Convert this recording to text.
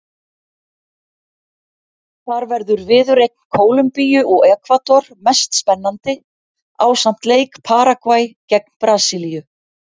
Þar verður viðureign Kólumbíu og Ekvador mest spennandi ásamt leik Paragvæ gegn Brasilíu.